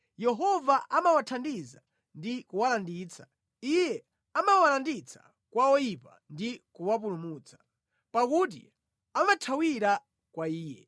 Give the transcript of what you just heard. Yehova amawathandiza ndi kuwalanditsa; Iye amawalanditsa kwa oyipa ndi kuwapulumutsa, pakuti amathawira kwa Iye.